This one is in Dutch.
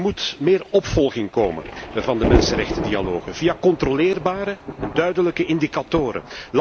Er moet meer opvolging komen van de mensenrechtendialogen via controleerbare en duidelijke indicatoren.